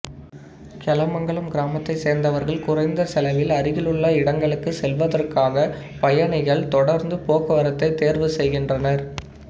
கெலமங்கலம் கிராமத்தைச் சேர்ந்தவர்கள் குறைந்த செலவில் அருகிலுள்ள இடங்களுக்குச் செல்வதற்காக பயணிகள் தொடர்ந்து போக்குவரத்தைத் தேர்வு செய்கின்றனர்